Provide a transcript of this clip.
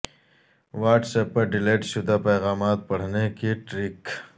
what's app پر delete شدہ پیغامات پڑھنے کی ٹرک